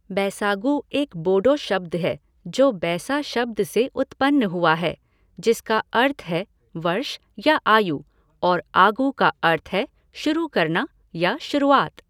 बैसागु एक बोडो शब्द है जो बैसा शब्द से उत्पन्न हुआ है, जिसका अर्थ है वर्ष या आयु, और आगु का अर्थ है शुरू करना या शुरूआत।